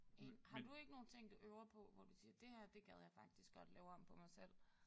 Enig. Har du ikke nogen ting du øver på hvor du siger det her det gad jeg faktisk godt lave om på mig selv?